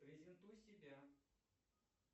презентуй себя